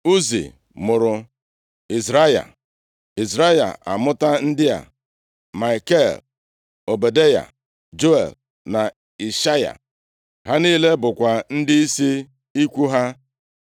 Uzi mụrụ Izrahaya. Izrahaya amụta ndị a: Maikel, Ọbadaya, Juel na Ishaya. Ha niile bụkwa ndịisi ikwu ha.